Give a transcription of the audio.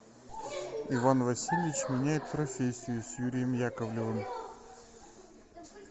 иван васильевич меняет профессию с юрием яковлевым